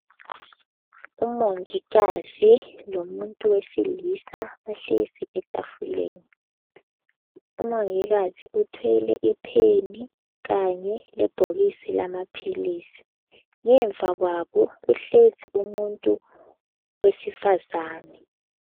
Umongikazi lomuntu wesilisa ohlezi etafuleni umongikazi uthwele ipheni kanye le bhokisi lamaphilisi ngemva kwabo kuhlezi umuntu wesifazane.